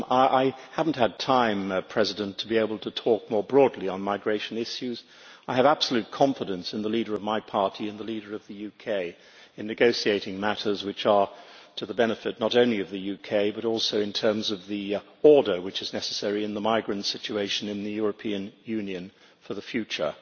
I have not had time to be able to talk more broadly on migration issues. I have absolute confidence in the leader of my party and the leader of the UK in negotiating matters which are to the benefit not only of the UK, but also in terms of the order which is necessary in the migrant situation in the European Union for the future.